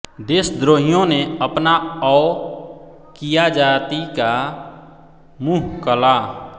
देशद्रोहियों ने अपना औ किया जाति का मुह कला